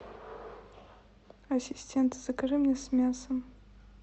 ассистент закажи мне с мясом